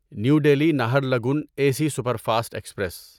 new Delhi Naharlagun A C superfast express